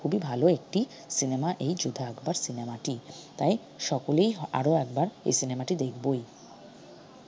খুবই ভাল একটি cinema এই যোধা আকবর cinema টি তাই সকলেই আরো একবার এই cinema টি দেখবই।